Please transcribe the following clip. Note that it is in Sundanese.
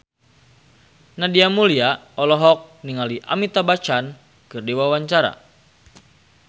Nadia Mulya olohok ningali Amitabh Bachchan keur diwawancara